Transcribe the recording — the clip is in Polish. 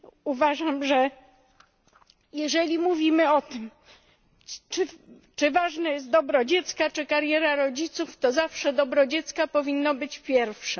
Uważam, że jeżeli mówimy o tym czy ważne jest dobro dziecka czy kariera rodziców, to zawsze dobro dziecka powinno być pierwsze.